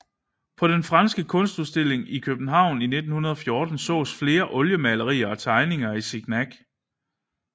På den franske Kunstudstilling i København 1914 sås flere oliemalerier og tegninger af Signac